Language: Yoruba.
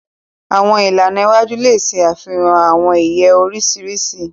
Àwọn ìlànà iwájú le ṣe àfihàn awọn iye oriṣiriṣi.